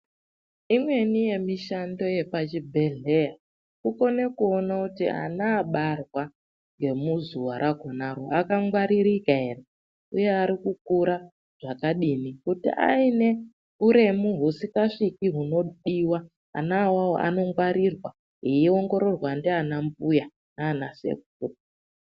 Imweni yemishando yepachibhedhlera kukone kuone kuti ana abarwa ngemuzuwa rakhonaro akangwaririkaere, uye arikukura zvakadini, kuti ainehuremu husikasviki hunodiwa, ana awowo anongwarirwa eiongororwa ndianambuya nanasekuru.